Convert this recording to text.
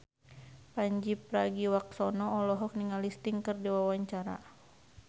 Pandji Pragiwaksono olohok ningali Sting keur diwawancara